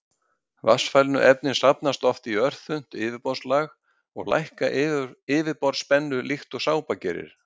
Vatnsfælnu efnin safnast oft í örþunnt yfirborðslag og lækka yfirborðsspennu líkt og sápa gerir.